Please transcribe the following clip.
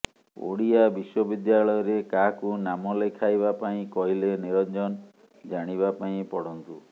ଓଡ଼ିଆ ବିଶ୍ୱବିଦ୍ୟାଳୟରେ କାହାକୁ ନାମ ଲେଖାଇବା ପାଇଁ କହିଲେ ନିରଞ୍ଜନ ଜାଣିବା ପାଇଁ ପଢ଼ନ୍ତୁ